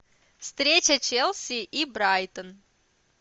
встреча челси и брайтон